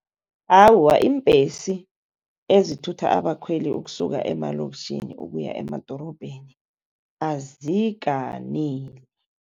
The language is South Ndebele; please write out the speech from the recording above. Awa, iimbhesi ezithutha abakhweli ukusuka emalokitjhini ukuya emadorobheni azikaneli.